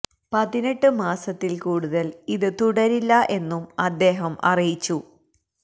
പതിനെട്ട് മാസത്തില് കൂടുതല് ഇത് തുടരില്ല എന്നും അദ്ദേഹം അറിയിച്ചു